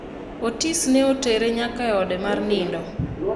Otis ne otere nyaka eode mar nindo ,